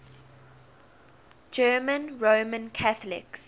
german roman catholics